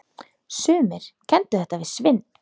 Sumir kenndu þetta við svindl.